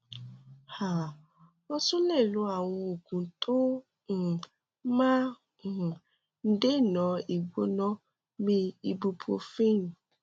um o tún lè lo àwọn oògùn tó um máa ń um dènà ìgbóná bíi ibuprofen